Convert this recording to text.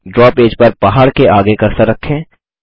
draw page पर पहाड़ के आगे कर्सर रखें